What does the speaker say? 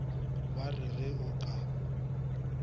ba re ge o ka